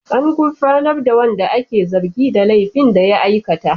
An gurfanar da wanda ake zargi da laifin da ya aikata.